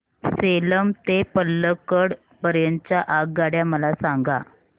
सेलम ते पल्लकड पर्यंत च्या आगगाड्या मला सांगा